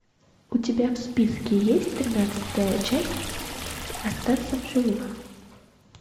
у тебя в списке есть тринадцатая часть остаться в живых